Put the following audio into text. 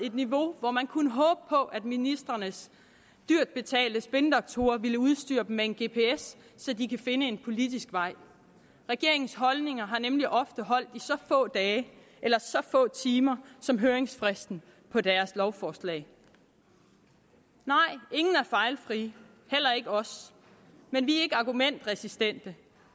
et niveau hvor man kunne håbe på at ministrenes dyrt betalte spindoktorer vil udstyre dem med en gps så de kan finde en politisk vej regeringens holdninger har nemlig ofte holdt i så få dage eller så få timer som høringsfristen på deres lovforslag nej ingen er fejlfri heller ikke os men vi er ikke argumentresistente